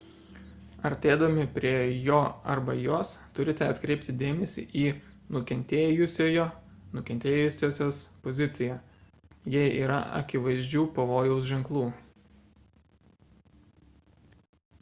artėdami prie jo arba jos turite atkreipti dėmesį į nukentėjusiojo -sios poziciją jei yra akivaizdžių pavojaus ženklų